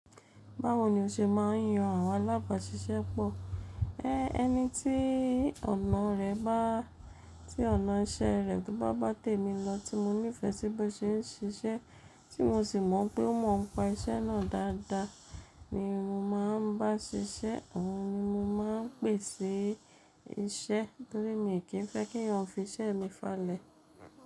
Báwo ni o ṣe ma ń yan àwọn alábàáṣiṣẹ́pọ̀? Ẹ ẹni tí ọ̀nà rẹ bá tí ọ̀nà iṣẹ́ rẹ̀ tó bá bá tè mí lọ tí mo nífẹ̀ẹ́ sí bí ó ṣe ń ṣe iṣẹ́, tí mo sì mọ̀ n pé ó mọ̀ ọ́n pa iṣẹ́ náà dáadáa ni mo máa ń bá ṣiṣẹ́. Ọ̀un ni mo máa ń pèsí iṣẹ́ torí mi kì í ń fẹ́ k’èèyàn fi iṣẹ́ mi falẹ̀.